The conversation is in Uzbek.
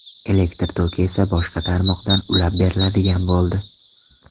Elektr toki esa boshqa tarmoqdan ulab beriladigan bo‘ldi.